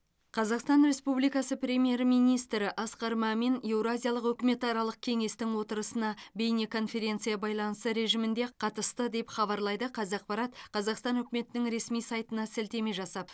қазақстан республикасы премьер министрі асқар мамин еуразиялық үкіметаралық кеңестің отырысына бейнеконференция байланысы режимінде қатысты деп хабарлайды қазақпарат қазақстан үкіметінің ресми сайтына сілтеме жасап